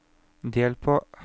del på